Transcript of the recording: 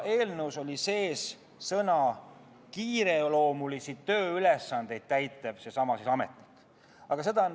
Eelnõus oli sees sõna "kiireloomulisi", millega täpsustati sellesama ametniku tööülesandeid.